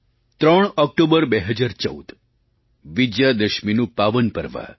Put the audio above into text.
3 October 2014 વિજયાદશમીનું પાવન પર્વ